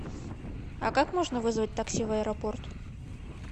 а как можно вызвать такси в аэропорт